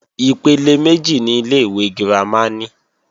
Ipele méjì ni ilé-ìwé girama ní.